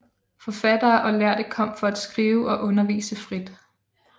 Forfattere og lærde kom for at kunne skrive og undervise frit